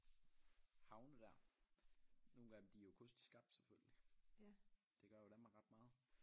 Havne der nogle af dem de jo kunstigt skabt selvfølgelig det gør jo Danmark ret meget